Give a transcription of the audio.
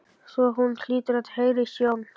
Svo hlýtur hún að heyra í sjón